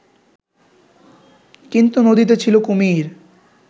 কিন্তু নদীতে ছিল কুমির